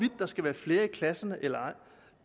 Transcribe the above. der skal være flere i klasserne eller ej